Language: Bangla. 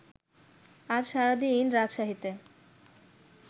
আজ সারাদিন রাজশাহীতে